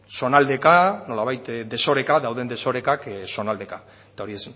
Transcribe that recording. zonaldeka nolabait desoreka dauden desorekak zonaldeka eta hori